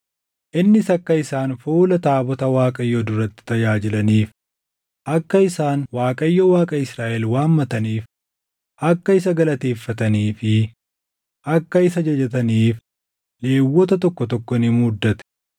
Innis akka isaan fuula taabota Waaqayyoo duratti tajaajilaniif, akka isaan Waaqayyo Waaqa Israaʼel waammataniif, akka isa galateeffatanii fi akka isa jajataniif Lewwota tokko tokko ni muuddate;